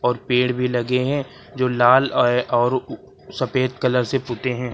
और पेड़ भी लगे हैं जो लाल और सफेद कलर से पुते हैं।